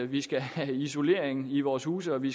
vi skal have isolering i vores huse og at vi